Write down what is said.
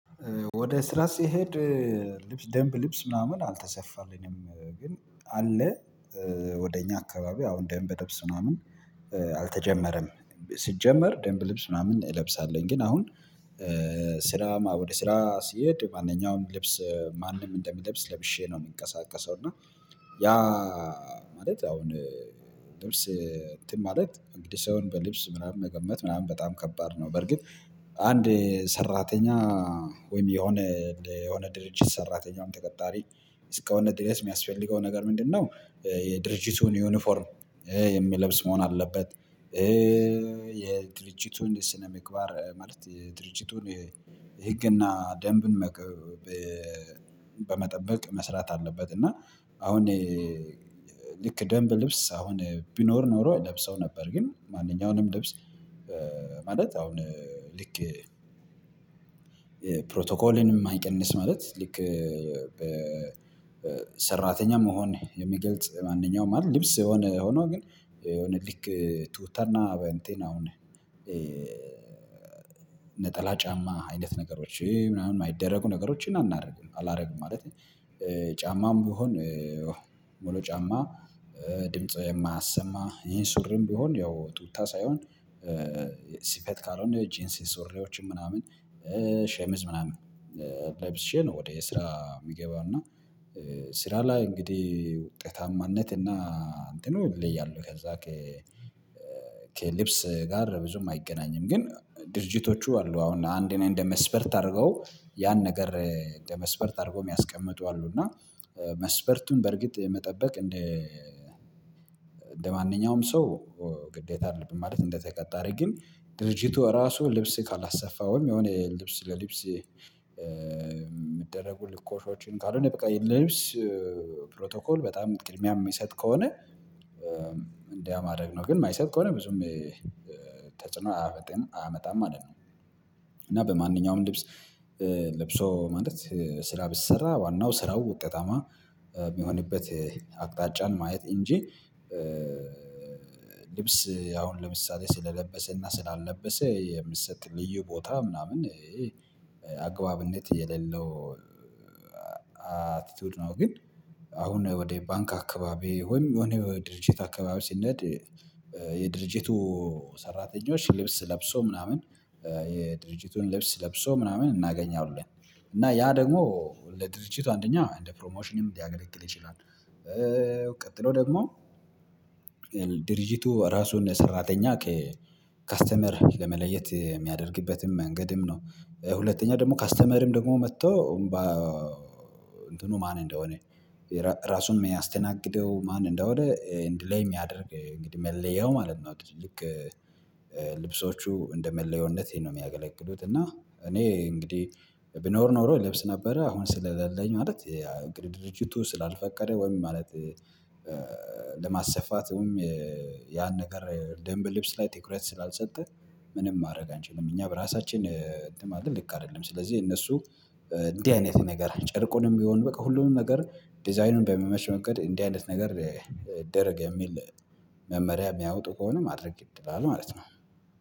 ወደ ስራ ሲሄድ ልብስ ደንብ ልብስ ምናምን አልተሰፋልንም ግን አለ ወደ እኛ አካባቢ አሁን ደንብ ልብስ ምናምን አልተጀመረም ሲጀመር ደንብ ልብስ ምናምን እለብሳለሁኝ ግን አሁን ስራ ወደ ስራ ስሄድ ማንኛውም ልብስ ማንም እንደሚለብስ ለብሼ ነው የሚንቀሳቀሰው እና ያ ማለት አሁን ልብስ እንትን ማለት እንግዲህ ሳይሆን በልብስ ምናምን መገመት ምናምን በጣም ከባድ ነው በርግጥ አንድ ሰራተኛ ወይም የሆነ የሆነ ድርጅት ሰራተኛውም ተቀጣሪ እስከሆነ ድረስ የሚያስፈልገው ነገር ምንድነው የድርጅቱን ዩኒፎርም የሚለብስ መሆን አለበት። የድርጅቱን ስነምግባር ማለት የድርጅቱን የህግና ደንብን በመጠበቅ መስራት አለበት። እና አሁን ልክ ደንብ ልብስ አሁን ቢኖር ኖሮ እለብሰው ነበር ግን ማንኛውንም ልብስ ማለት አሁን ልክ ፕሮቶኮልንም ማይቀንስ ማለት ልክ በሰራተኛ መሆን የሚገልጽ ማንኛውም ማለት ልብስ የሆነ ሆኖ ግን የሆነ ልክ ቱታና በእንትን አሁን ጫማ አይነት ነገሮች ምናምን የማይደረጉ ነገሮችን አናደርግም አላደርግም ማለት ጫማም ቢሆን ሙሉ ጫማ ድምጽ የማያሰማ ይሄን ሱሪም ቢሆን ያው ቱታ ሳይሆን ስፌት ካልሆነ ጄንሲ ሱሪዎችን ምናምን ሸምዝ ምናምን ለብሼ ነው። ወደ ስራ የሚገባው እና ስራ ላይ እንግዲህ ውጤታማነት እና እንትኑ ይለያሉ ከዛ ከልብስ ጋር ብዙም አይገናኝም ግን ድርጅቶቹ አሉ አሁን አንድ እኔ እንደ መስፈርት አድርገው ያን ነገር እንደ መስፈርት አድርገው የሚያስቀምጡ አሉ እና መስፐርቱን በርግጥ መጠበቅ እንደ እንደማንኛውም ሰው ግዴታ አይደለብንም። ማለት እንደተቀጣሪ ግን ድርጅቱ ራሱ ልብስ ካላሰፋውም የሆነ ልብስ ለልብስ የሚደረጉ ልኮሾችን ካልሆነ በቃ ለልብስ ፕሮቶኮል በጣም ቅድሚያ የሚሰጥ ከሆነ እንዲህ ማድረግ ነው ግን የማይሰጥ ከሆነ ብዙም ተጽዕኖ አያመጣም ማለት ነው። በማንኛውም ልብስ ልብሶ ማለት ስራ ቢሰራ ዋናው ስራው ውጤታማ የሚሆንበት አቅጣጫን ማየት እንጂ ልብስ አሁን ለምሳሌ ስለለበሰና ስላልለበሰ የምሰጥ ልዩ ቦታ ምናምን አግባብነት የሌለው አቲቲዩድ ነው። ግን አሁን ወደ ባንክ አካባቢ ሆይም የሆነ ድርጅት አካባቢ ስኔድ የድርጅቱ ሰራተኞች ልብስ ለብሶ ምናምን የድርጅቱን ልብስ ለብሶ ምናምን እናገኛለን እና ያ ደግሞ ለድርጅቱ አንደኛ እንደ ፕሮሞሽን ሊያገለግል ይችላል። ቀጥሎ ደግሞ ድርጅቱ ራሱን ሰራተኛ ከከስተመር ለመለየት የሚያደርግበትም መንገድም ነው። ሁለተኛ ደግሞ ከስተመርም ደግሞ መቶ እንባ እንትኑ ማን እንደሆነ ራሱን የሚያስተናግደው ማን እንደሆነ እንዲህ የሚያደርግ እንግዲህ መለያው ማለት ነው። ልክ ልብሶቹ እንደ መለየውነቴ ነው የሚያገለግሉት። እና እኔ እንግዲህ ቢኖር ኖሮ ልብስ ነበረ አሁን ስለሌለኝ ማለት እንግዲህ ድርጅቱ ስላልፈቀደ ወይም ማለት ለማሰፋት ወይም ያን ነገር ደንብ ልብስ ላይ ትኩረት ስላልሰጠ ምንም ማድረግ አንችልም እኛ በራሳችን እንትን ማለት ልክ አይደለም። ስለዚህ እነሱ እንዲህ አይነት ነገር ጨርቁንም ቢሆን በቃ ሁሉንም ነገር ዲዛይኑን በሚመች መንገድ እንዲህ አይነት ነገር ይደረግ የሚል መመሪያ የሚያወጡ ከሆነ ማድረግ ግድ ይላል ማለት ነው